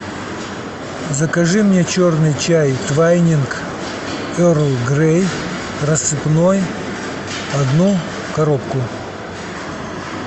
закажи мне черный чай твайнинг ерл грей рассыпной одну коробку